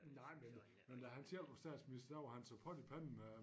Nej men men da han selv var statsminister der var han som pot i pande med